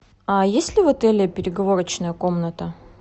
а есть ли в отеле переговорочная комната